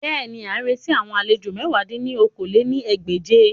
Bẹ́ẹ̀ni, a n reti awon alejo mẹ̀wá dín ní okòó-lé-ní-ẹgbẹ́je